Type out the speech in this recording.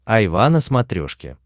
айва на смотрешке